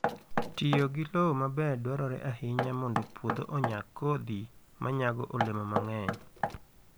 Tiyo gi lowo maber dwarore ahinya mondo puodho onyag kodhi ma nyago olemo mang'eny.